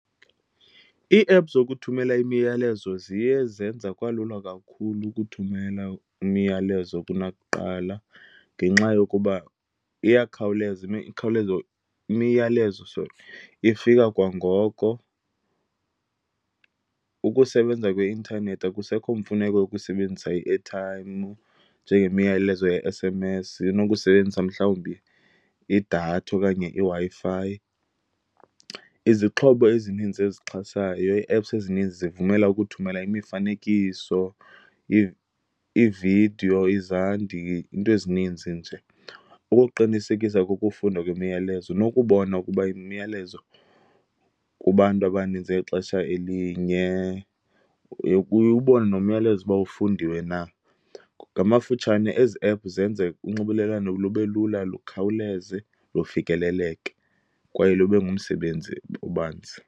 Ii-app zokuthumela imiyalezo ziye zenza kwalula kakhulu ukuthumela umyalezo kunakuqala, ngenxa yokuba iyakhawuleza imiyalezo, sorry, ifika kwangoko. Ukusebenza kweintanethi, akusekho mfuneko yokusebenzisa i-airtime njengemiyalezo ye-S_M_S. Inokusebenzisa mhlawumbi idatha okanye iWi-Fi. Izixhobo ezininzi ezixhasayo, ii-apps ezininzi zivumela ukuthumela imifanekiso, iividiyo izandi, iinto ezininzi nje, ukuqinisekisa kokufundwa kwemiyalezo nokubona ukuba imiyalezo kubantu abaninzi ngexesha elinye uye ubone nomyalezo uba ufundiwe na. Ngamafutshane, ezi app zenza unxibelelwano lube lula, lukhawuleze, lufikeleleke kwaye lube ngumsebenzi obanzi.